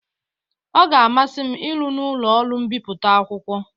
Ọ ga-amasị m ịrụ n'ụlọ ọrụ mbipụta akwụkwọ.